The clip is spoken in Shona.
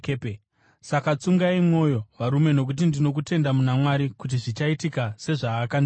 Saka tsungai mwoyo, varume, nokuti ndino kutenda muna Mwari kuti zvichaitika sezvaakandiudza.